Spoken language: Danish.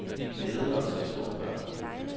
Vi glædede os som små børn.